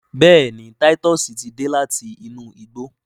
béèni Titus tí dé láti inú igbó.